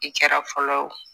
I kɛra fɔlɔ o